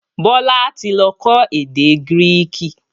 Bọlá tí lọ kọ́ èdè Greek